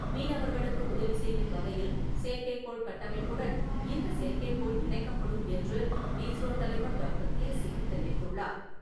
மீனவர்களுக்கு உதவி செய்யும் வகையில், செயற்கைக்கோள் கட்டமைப்புடன் இந்த செயற்கைக்கோள் இணைக்கப்படும் என்று இஸ்ரோ தலைவர் டாக்டர் கே சிவன் தெரிவித்துள்ளார்.